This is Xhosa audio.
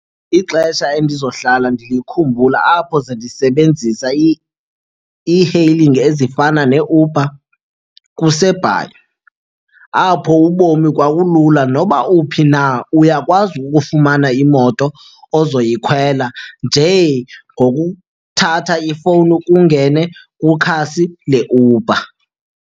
Ixesha endizohlala ndilikhumbula apho zendisebenzisa i-e-hailing ezifana neeUber kuseBhayi apho ubomi kwakulula. Noba uphi na, uyakwazi ukufumana imoto ozoyikhwela nje ngokuthatha ifowuni kungene kwikhasi leUber.